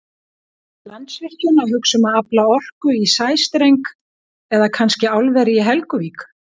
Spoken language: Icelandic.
En Landsvirkjun að hugsa um að afla orku í sæstreng eða kannski álveri í Helguvík?